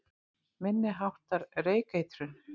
Minni háttar reykeitrun